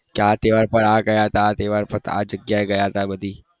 કયા તહેવાર પર આ ગયા તા આ તહેવાર પર આ જગ્યા એ ગયા હતા બધી